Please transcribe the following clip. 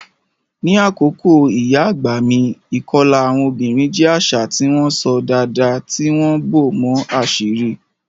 Ní àkókò ìyá àgbà mi, ìkọlà àwọn obìnrin jẹ́ àṣà tí wọ́n ṣọ́ dáadáa, tí wọ́n bò mọ́ àṣírí.